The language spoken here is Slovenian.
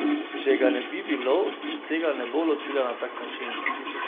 Če ga ne bi bilo, se tega ne bo lotila na tak način.